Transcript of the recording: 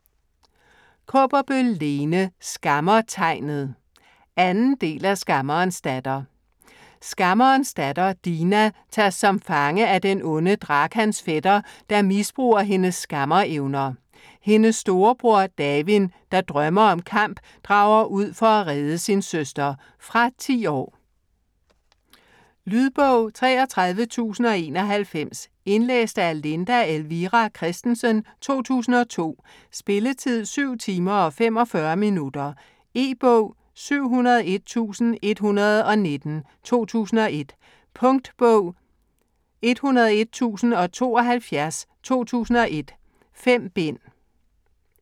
Kaaberbøl, Lene: Skammertegnet 2. del af Skammerens datter. Skammerens datter Dina tages som fange af den onde Drakans fætter, der misbruger hendes skammerevner. Hendes storebror Davin, der drømmer om kamp, drager ud for at redde sin søster. Fra 10 år. Lydbog 33091 Indlæst af Linda Elvira Kristensen, 2002. Spilletid: 7 timer, 45 minutter. E-bog 701119 2001. Punktbog 101072 2001. 5 bind.